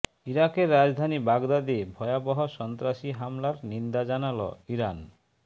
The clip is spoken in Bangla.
ইরাকের রাজধানী বাগদাদে ভয়াবহ সন্ত্রাসী হামলার নিন্দা জানাল ইরান